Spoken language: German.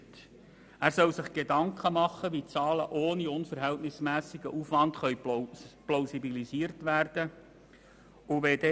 Er soll sich darüber Gedanken machen, wie die Zahlen ohne unverhältnismässigen Aufwand plausibilisiert werden können.